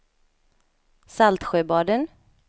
Saltsjöbaden